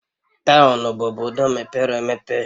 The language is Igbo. Townu bụ obodo mepere emepe